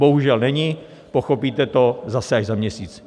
Bohužel není, pochopíte to zase až za měsíc.